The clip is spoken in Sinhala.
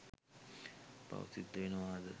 පව් සිද්ද වෙනවද?